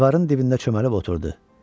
Divarın dibində çömbəlib oturdu.